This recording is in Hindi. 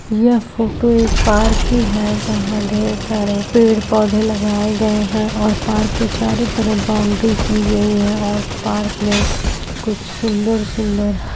यह फोटो एक पार्क की है जहाँ ढेर सारे पेड़ पौधे लगाये गए हैं और पार्क के चारो तरफ बाउड्री की गयी है और पार्क में कुछ सुन्दर सुन्दर --